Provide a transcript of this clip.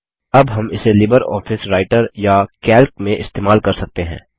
अब हम इसे लिबर ऑफिस राइटर या कैल्क में इस्तेमाल कर सकते हैं